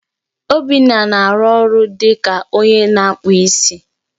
Obinna na-arụ ọrụ dị ka onye na-akpụ isi.